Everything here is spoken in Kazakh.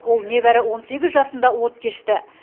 ол небәрі он сегіз жасында от кешті